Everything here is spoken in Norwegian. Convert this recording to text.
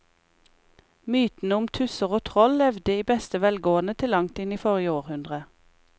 Mytene om tusser og troll levde i beste velgående til langt inn i forrige århundre.